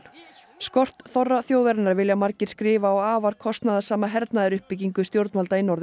skort þorra þjóðarinnar vilja margir skrifa á afar kostnaðarsama hernaðaruppbyggingu stjórnvalda í Norður